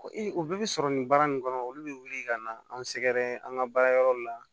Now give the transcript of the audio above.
o bɛɛ bi sɔrɔ nin baara nunnu kɔnɔ olu be wuli ka na an sɛgɛrɛ an ga baara yɔrɔ la